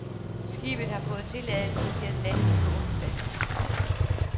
Skibet har fået tilladelse til at laste på onsdag.